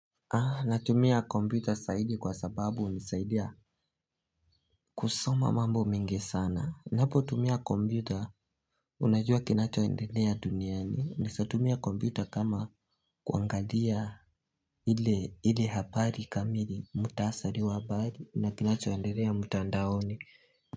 Natumia kompyuta saidi kwa sababu hunisaidia kusoma mambo mingi sana. Unapotumia kompyuta unajua kinachoendelea duniani. Naesa tumia kompyuta kama kuangalia unapotumia kompyuta unajua kinachoendelea duniani.